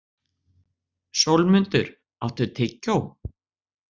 Sólmundur, áttu tyggjó?